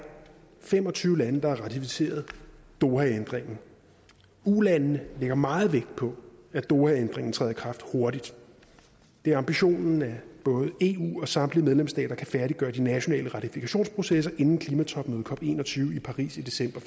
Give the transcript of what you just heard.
fem og tyve lande der har ratificeret dohaændringen ulandene lægger meget vægt på at dohaændringen træder i kraft hurtigt det er ambitionen at både eu og samtlige medlemsstater kan færdiggøre de nationale ratifikationsprocesser inden klimatopmødet cop en og tyve i paris i december